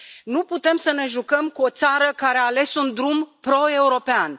Nu putem să ne jucăm cu o țară care a ales un drum proeuropean.